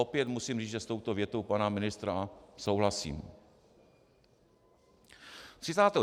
Opět musím říct, že s touto větou pana ministra souhlasím.